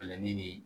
Bɛlɛ nii